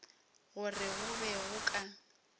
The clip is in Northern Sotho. gore go be go ka